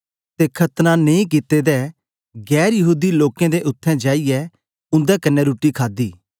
तो खतना नेई कित्ते दे गैर यहूदी लोकें दे उत्थें जाईयै उन्दे कन्ने रुट्टी खादी